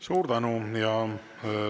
Suur tänu!